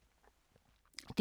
DR2